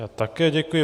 Já také děkuji.